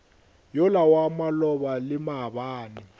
yola wa maloba le maabane